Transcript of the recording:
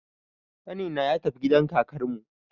Ƙanina ya tafi gidan kakarmu